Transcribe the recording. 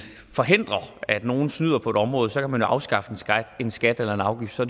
forhindre at nogle snyder på et område kan man jo afskaffe en skat eller en afgift så